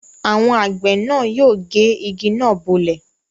Àwọn àgbẹ̀ náà yóò gé igi náà bọ́lẹ̀.